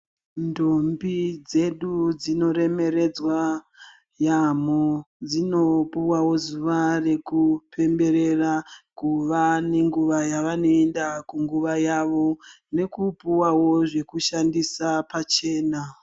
Ndombi dzedu dzinoremeredzwa yaamho, dzino puvano zuva rekupemberera kuva nenguva yavanoenda kunguva yavo, nekupuvavo zvekushandisa pachena.